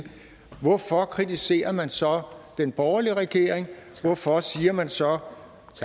hvorfor kritiserer man så den borgerlige regering hvorfor siger man så